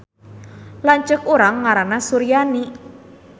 Lanceuk urang ngaranna Suryani